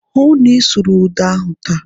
Hụụ na Ị sụrụ ụda ahụ taa!